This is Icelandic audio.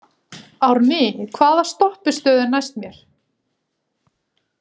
Árný, hvaða stoppistöð er næst mér?